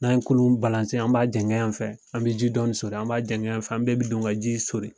N'an ye kurun , an b'a jɛngɛ yan fɛ, an be ji dɔɔni soli , an b'a jɛngɛ yan fɛ . Bɛɛ be don ka ji in soli.